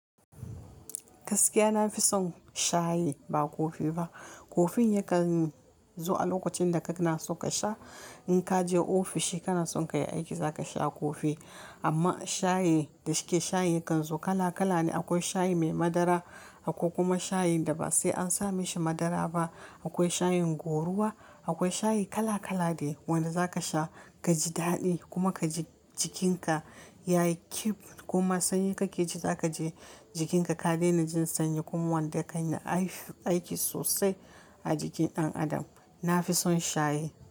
Gaskiya na fi son shayi ba kofi ba. Kofin yakan zo a lokacin da ka na so ka sha. In ka je ofishi kana son ka yi aiki za ka sha kofi. Amma shayi da su ke shayin kan zo kala kala ne. Akwai shayi mai madara, akwai kuma shayin da ba sai an sa mashi madara ba. Akwai shayin goruwa, akwai shayi kala kala da wanda za ka sha ka ji daɗi kuma ka ji jikin ka ya yi kyif. Kuma sanyi ka ke ji za ka je jikinka ka daina jin sanyi. Kuma wanda ka yi aiki sosai a jikin ɗan adam. Na fi son shayi.